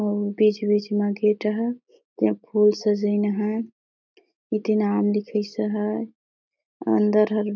अउ बीच- बीच म गेट ह ईहा फूल सजाइन नहे इति नाम लिखाइश हे अंदर ह --